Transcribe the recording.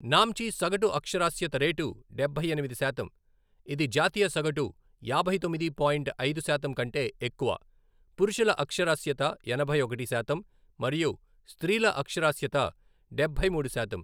నామ్చి సగటు అక్షరాస్యత రేటు డబ్బై ఎనిమిది శాతం, ఇది జాతీయ సగటు యాభై తొమ్మిది పాయింట్ ఐదు శాతం కంటే ఎక్కువ, పురుషుల అక్షరాస్యత ఎనభై ఒకటి శాతం మరియు స్త్రీల అక్షరాస్యత డబ్బై మూడు శాతం.